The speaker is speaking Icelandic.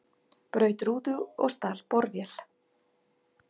Braut rúðu og stal borvél